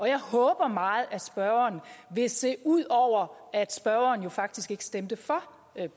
jeg håber meget at spørgeren vil se ud over at spørgeren jo faktisk ikke stemte for